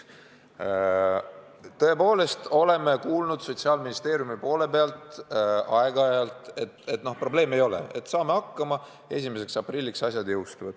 Tõepoolest, oleme aeg-ajalt Sotsiaalministeeriumist kuulnud, et probleemi ei ole, saame hakkama, 1. aprillil reform jõustub.